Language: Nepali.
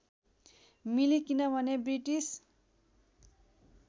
मिली किनभने ब्रिटिस